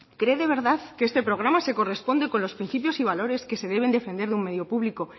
cree de verdad que este programa se corresponde con los principios y valores que se deben defender en un medio público